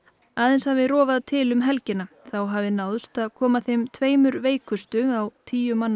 aðeins hafi rofað til um helgina þá hafi náðst að koma þeim tveimur veikustu á tíu manna